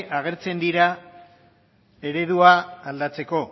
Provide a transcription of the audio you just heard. agertzen dira eredua aldatzeko